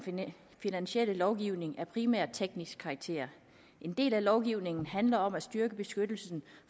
finansielle lovgivning af primært teknisk karakter en del af lovgivningen handler om at styrke beskyttelsen